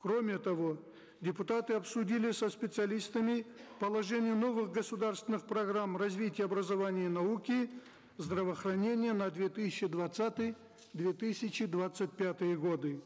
кроме того депутаты обсудили со специалистами положения новых государственных программ развития образования и науки здравоохранения на две тысячи двадцатый две тысячи двадцать пятые годы